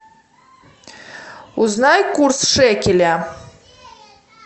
узнай курс шекеля